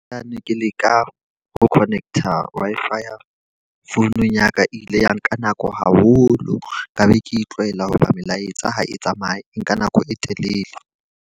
Ha ne ke leka ho connect-a Wi-Fi phone ya ka. E ile ya nka nako haholo ka be Ke e tlwaela hoba melaetsa ha e tsamaye e nka nako e telele.